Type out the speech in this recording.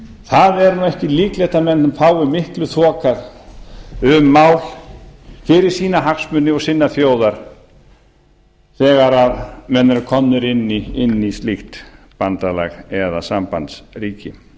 það er nú ekki líklegt að menn fái miklu þokað um mál fyrir sína hagsmuni og sinnar þjóðar þegar menn eru komið inn í slíkt bandalag eða sambandsríki